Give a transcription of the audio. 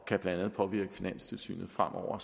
kan blandt andet påvirke finanstilsynet fremover